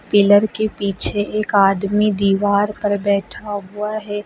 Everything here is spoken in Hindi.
पिलर के पीछे एक आदमी दीवार पर बैठा हुआ है।